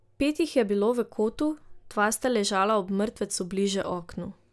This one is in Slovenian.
Pet jih je bilo v kotu, dva sta ležala ob mrtvecu bliže oknu.